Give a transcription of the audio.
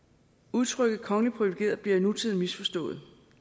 udtrykket kongeligt privilegerede bliver i nutiden misforstået